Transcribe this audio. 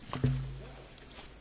Panie Przewodniczący!